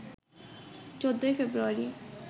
১৪ ফেব্রুয়ারি